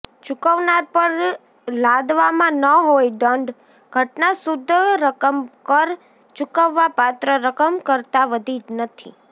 ચૂકવનાર પર લાદવામાં ન હોય દંડ ઘટના શુદ્ધ રકમ કર ચૂકવવાપાત્ર રકમ કરતાં વધી નથી